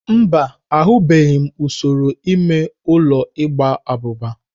Mba, ahụbeghị m usoro ime ụlọ igba abụba.